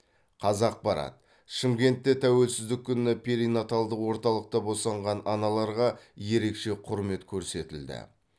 қазақпарат шымкентте тәуелсіздік күні перинаталдық орталықта босанған аналарға ерекше құрмет көрсетілді